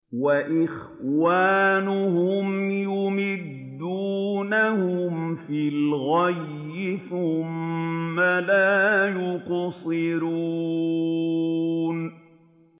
وَإِخْوَانُهُمْ يَمُدُّونَهُمْ فِي الْغَيِّ ثُمَّ لَا يُقْصِرُونَ